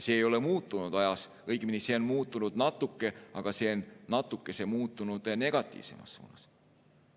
See ei ole ajas muutunud, õigemini see on muutunud natuke, aga see on muutunud negatiivsemas suunas.